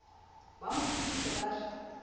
ba mo thodise ba re